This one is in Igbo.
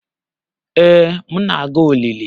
Ee, m na-aga olili.